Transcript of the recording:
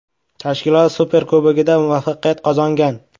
Tashkilot Superkubogida muvaffaqiyat qozongan.